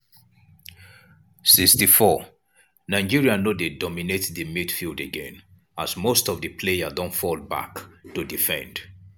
64' nigeria no dey dominate di midfield again as most of di players don fall back to defend.